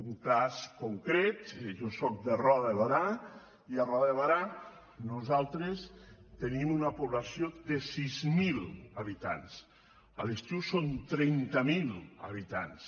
un cas concret jo sóc de roda de berà i a roda de berà nosaltres tenim una població de sis mil habitants a l’estiu som trenta mil habitants